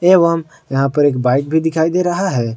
एवं यहां पर एक बाइक भी दिखाई दे रहा है।